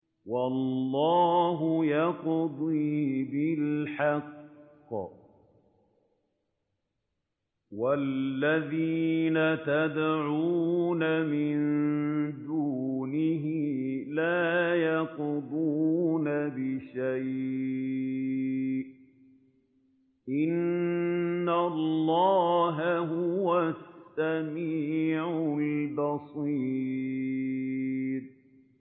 وَاللَّهُ يَقْضِي بِالْحَقِّ ۖ وَالَّذِينَ يَدْعُونَ مِن دُونِهِ لَا يَقْضُونَ بِشَيْءٍ ۗ إِنَّ اللَّهَ هُوَ السَّمِيعُ الْبَصِيرُ